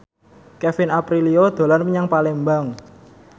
Kevin Aprilio dolan menyang Palembang